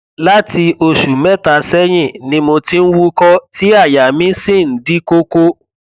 láti oṣù mẹta sẹyìn ni mo ti ń wúkọ tí àyà mi sì ń di kókó